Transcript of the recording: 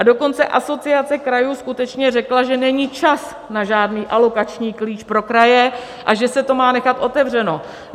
A dokonce Asociace krajů skutečně řekla, že není čas na žádný alokační klíč pro kraje a že se to má nechat otevřeno.